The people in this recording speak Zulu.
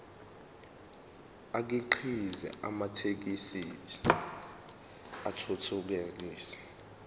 akhiqize amathekisthi athuthukile